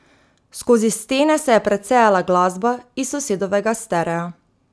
Skozi stene se je precejala glasba iz sosedovega sterea.